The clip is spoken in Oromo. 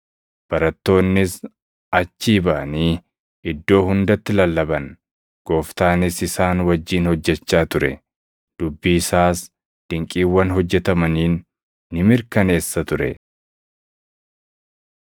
Barattoonnis achii baʼanii iddoo hundatti lallaban; Gooftaanis isaan wajjin hojjechaa ture; dubbii isaas dinqiiwwan hojjetamaniin ni mirkaneessa ture.] + 16:9‑20 Waraabbileen durii tokko tokko kutaa luqqisaa 9 fi 20 gidduu jiru hin qaban.